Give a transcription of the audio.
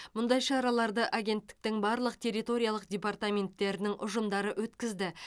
мұндай шараларды агенттіктің барлық территориялық департаменттерінің ұжымдары өткізді